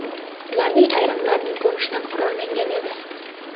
Ularning ayrimlari, ko‘rinishidan, qurollangan edi.